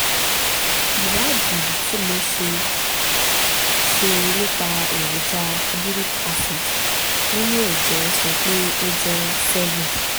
ìwádìí tí mo ṣe ṣe nípa èròjà uric acid nínú ẹ̀jẹ̀ sọ pé ó jẹ́ seven